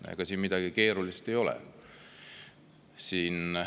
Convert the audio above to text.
Ega siin midagi keerulist ei ole.